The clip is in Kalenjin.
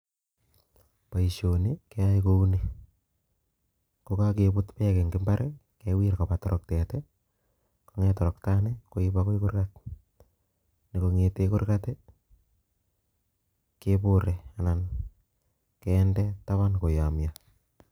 Boisyoni keyoei kouni kibutei bek akinde toroktet atya koib Koba gaa keng'a atya keng'aa asikobit kekonor